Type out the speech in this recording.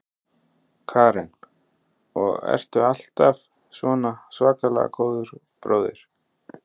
Karen: Og ertu alltaf svona svakalega góður bróðir?